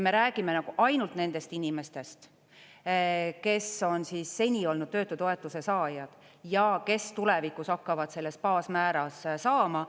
Me räägime ainult nendest inimestest, kes on seni olnud töötutoetuse saajad ja kes tulevikus hakkavad selles baasmääras saama.